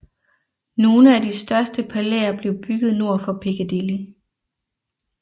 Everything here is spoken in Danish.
Nogle af de største palæer blev bygget nord for Piccadilly